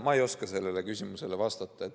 Ma ei oska sellele küsimusele vastata.